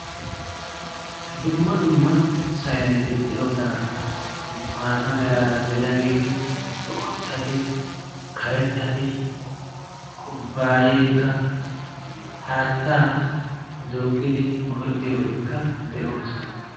dumma dumma sayneti de'oosana maata meraara de'iyaageeti boottati karettati kubbaayeekka paattaa durqqidi go'ettiyoobatikka de'oosona